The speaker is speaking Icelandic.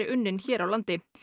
unninn hér á landi